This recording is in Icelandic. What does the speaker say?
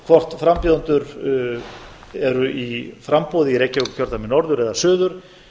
hvort frambjóðendur eru í framboði í reykjavíkurkjördæmi norður eða suður